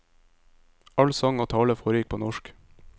All sang og tale foregikk på norsk.